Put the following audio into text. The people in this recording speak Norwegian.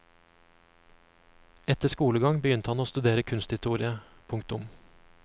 Etter skolegang begynte han å studere kunsthistorie. punktum